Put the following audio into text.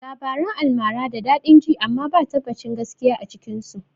Labaran almara da daɗin ji amma ba tabbacin gaskiya a cikin su